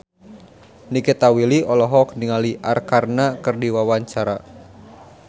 Nikita Willy olohok ningali Arkarna keur diwawancara